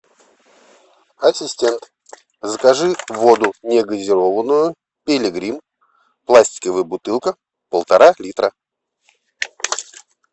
ассистент закажи воду негазированную пилигрим пластиковая бутылка полтора литра